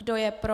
Kdo je pro?